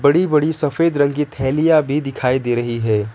बड़ी बड़ी सफेद रंग की थैलियां भी दिखाई दे रही है।